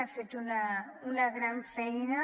ha fet una gran feina